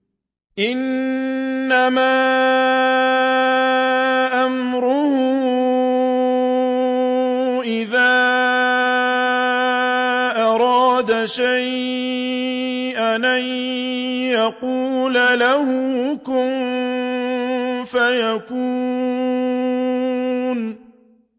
إِنَّمَا أَمْرُهُ إِذَا أَرَادَ شَيْئًا أَن يَقُولَ لَهُ كُن فَيَكُونُ